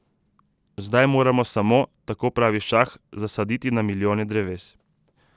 Zdaj moramo samo, tako pravi šah, zasaditi na milijone dreves.